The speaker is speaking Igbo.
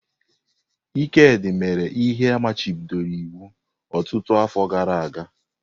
Ikedi mere ihe a machibidoro iwu ọtụtụ afọ gara aga.